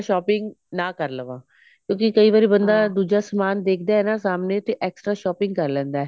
extra shopping ਨਾ ਕਰ ਲਵਾਂ ਕਿਉਂਕਿ ਬੰਦਾ ਕਈ ਵਾਰ ਦੁੱਜਾ ਸਮਾਨ ਦੇਖਦਾ ਹੈ ਨਾ ਸਾਹਮਣੇ ਤੇ extra shopping ਕਰ ਲੇੰਦਾ